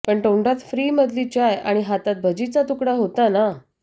पण तोंडात फ्री मधली चाय आणि हातात भजीचा तुकडा होता ना